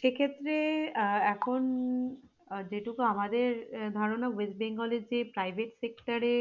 সেক্ষেত্রে আহ এখন আহ যেটুকু আমাদের ধারণা ওয়েস্ট বেঙ্গলের যে private sector এ